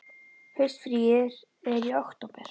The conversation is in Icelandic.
Haustfríið er í október.